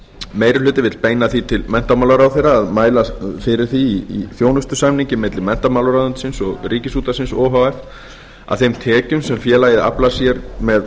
meiri hlutinn vill beina því til menntamálaráðherra að mælast í þjónustusamningi milli menntamálaráðuneytisins og ríkisútvarpsins o h f til þess að þeim tekjum sem félagið aflar sér með